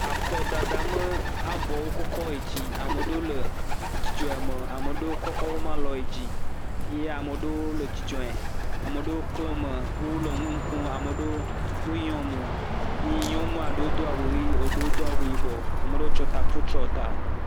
Akɔ dada ƒe avɔ wokɔ kɔ yi dzi. Ame aɖewo le dzidzɔ ya me. Ame aɖewo kɔkɔ woƒe alɔ yi dzi ye ame aɖe le dzidzɔɛ. Ame aɖewo klɔmo ame aɖewo le nu kom. Ame aɖewo yɔ mɔ. Ye nyɔnua ɖewo Do awu ɣi, ame aɖewo do awu yibɔ, ame aɖe kɔ taku tsyɔ tea.